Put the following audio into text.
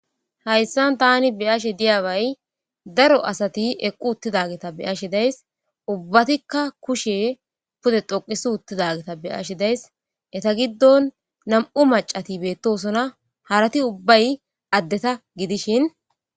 Haysan Tani beyashe diyabay daro asati eqi uttidageta beyashe days ubbatika kushe pude dhoqisi uttidageta beyashe days Eta giddon nam'u macati beetosona harati ubbay addeta gidishin